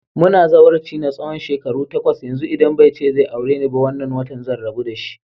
Muna zawarci na tsawon shekaru takwas yanzu, idan bai ce zai aure ni ba wannan watan zan rabu dashi.